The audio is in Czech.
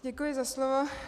Děkuji za slovo.